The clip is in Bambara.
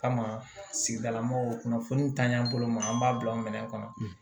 Kama sigidala mɔgɔw kunnafoniw ta yan bolo ma an b'a bila o minɛ kɔnɔ